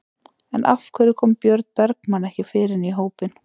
En af hverju kom Björn Bergmann ekki fyrr inn í hópinn?